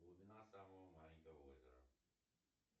глубина самого маленького озера